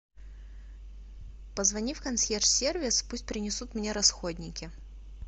позвони в консьерж сервис пусть принесут мне расходники